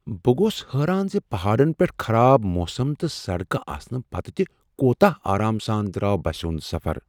بہٕ گوس حٲران ز پہاڈن پیٹھ خراب موسم تہٕ سڑکہٕ آسنہٕ پتہٕ تہ کوتاہ آرام سان درٛاو بسہ ہنٛد سفر۔